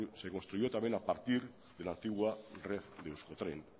se construyó también a partir de la antigua red de euskotren